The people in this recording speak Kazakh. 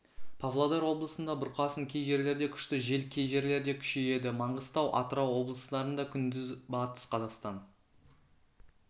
павлодар облысында бұрқасын кей жерлерде күшті жел кей жерлерде күшейеді маңғыстау атырау облыстарында күндіз батыс қазақстан